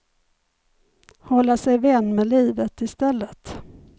Hålla sig vän med livet istället.